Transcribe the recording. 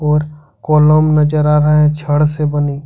और कोलम नजर आ रहा है छड़ से बनी।